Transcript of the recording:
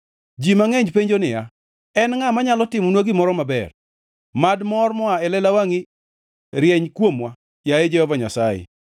Ji mangʼeny penjo niya, “En ngʼa manyalo timonwa gimoro maber?” Mad ler moa e lela wangʼi rieny kuomwa, yaye Jehova Nyasaye.